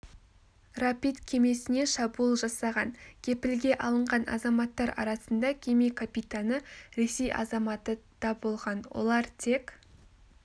рапид кемесіне шабуыл жасаған кепілге алынған азаматтар арасында кеме капитаны ресей азаматы даболған олар тек